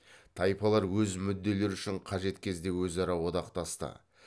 тайпалар өз мүдделері үшін қажет кезде өзара одақтасты